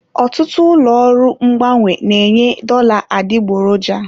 Ọtụtụ ụlọ ọrụ mgbanwe na-enye dollar adịgboroja.